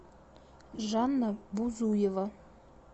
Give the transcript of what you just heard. жанна бузуева